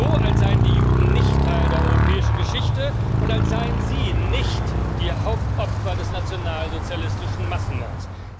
So, als seien die Juden nicht Teil der europäischen Geschichte und als seien sie nicht die Hauptopfer des nationalsozialistischen Massenmords.